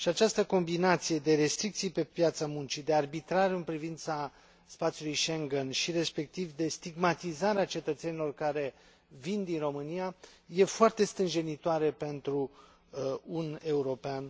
Această combinație de restricții pe piața muncii, de arbitrariu în privința spațiului Schengen și, respectiv, de stigmatizare a cetățenilor care vin din România este foarte stânjenitoare pentru un european.